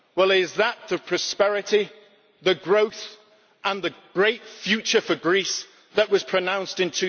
Is that the prosperity, the growth and the great future for Greece that was pronounced in